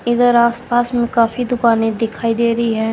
इधर आस पास मे काफी दुकाने दिखाई देरी है।